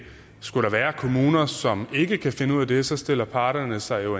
skulle der være kommuner som ikke kan finde ud af det så stiller parterne sig